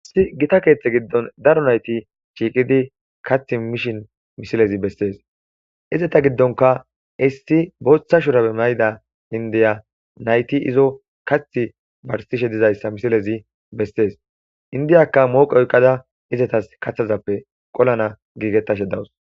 issi gita keeththe giddon daro nayti shiiqidi kath mishin mishilezi bessees izeta giddonka issi booththa shurabe mayida indiya nayti izo kath barsishe dizayssa misilezi bessees indiyaka mooqe oyqada izetas kathazappe qolana giigetashe dawus